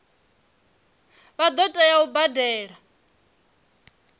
vha ḓo tea u badela